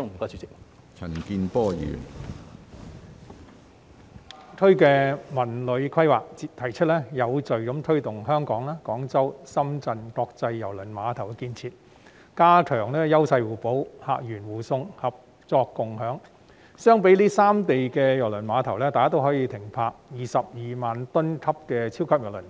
大灣區的《文旅規劃》提出有序推動香港、廣州、深圳國際郵輪港建設、加強優勢互補、客源互送、合作共享，這三地的郵輪碼頭都可以停泊22萬噸級的超級郵輪，